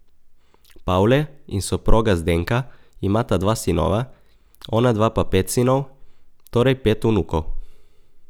Pavle in soproga Zdenka imata dva sinova, onadva pa pet sinov, torej pet vnukov.